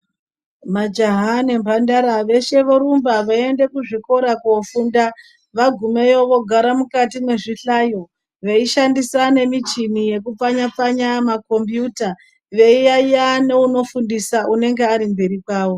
Majaha nemhandara veshe vorumba veienda kuzvikora kofunda vagumeyo vogara mukati mwezvihlayo veishandisa nemichini yekupfanya pfanya makombiyuta veiyayeya neunofundisa neunofundisa unenge uri mberi kwavo.